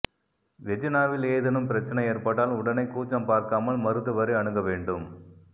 வெஜினாவில் ஏதேனும் பிரச்சனை ஏற்பட்டால் உடனே கூச்சம் பார்க்காமல் மருத்துவரை அணுக வேண்டும்